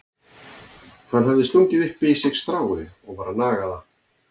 Hann hafði stungið upp í sig strái og var að naga það.